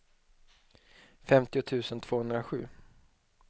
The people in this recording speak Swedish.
femtio tusen tvåhundrasju